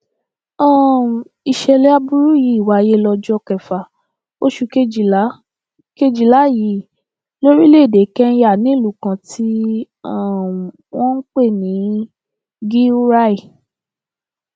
um ìṣẹlẹ aburú yìí wáyé lọjọ kẹfà oṣù kejìlá kejìlá yìí lórílẹèdè kẹńyà nílùú kan tí um wọn ń pè ní gí húráì